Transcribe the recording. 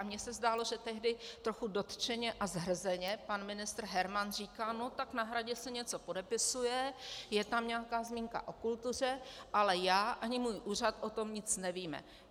A mě se zdálo, že tehdy trochu dotčeně a zhrzeně pan ministr Herman říká: no tak na Hradě se něco podepisuje, je tam nějaká zmínka o kultuře, ale já ani můj úřad o tom nic nevíme.